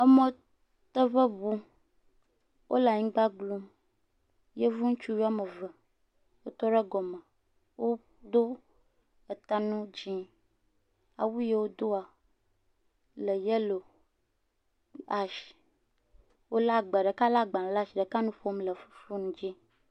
Emɔdede ŋu, wole anigba glu. Yevu ŋutsuvi woame eve wotɔ ɖe gɔme, woɖo eta nu dzɛ. Awu yie wodoa le yelo, ash, ɖeka le agbaɖe asi, ɖeka nu ƒom le fone dzi.